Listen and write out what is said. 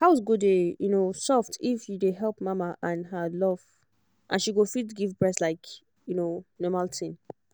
house go dey um soft if you dey help mama and show her love and she go fit give breast like um normal tin